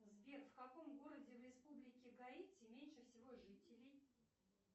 сбер в каком городе в республике гаити меньше всего жителей